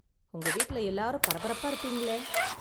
உங்க வீட்ல எல்லாரும் பரபரப்பா இருப்பீங்களே?